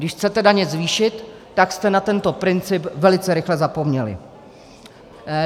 Když chcete daně zvýšit, tak jste na tento princip velice rychle zapomněli.